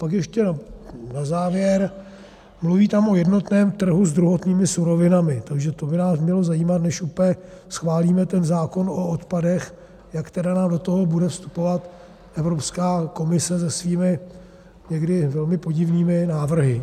Pak ještě na závěr, mluví tam o jednotném trhu s druhotnými surovinami, takže to by nás mělo zajímat, než úplně schválíme ten zákon o odpadech, jak tedy nám do toho bude vstupovat Evropská komise se svými někdy velmi podivnými návrhy.